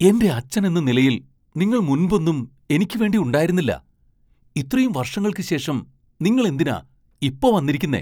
എന്റെ അച്ഛനെന്ന നിലയിൽ, നിങ്ങൾ മുൻപൊന്നും എനിക്കുവേണ്ടി ഉണ്ടായിരുന്നില്ല. ഇത്രയും വർഷങ്ങൾക്ക് ശേഷം നിങ്ങൾ എന്തിനാ ഇപ്പോ വന്നിരിക്കുന്നെ?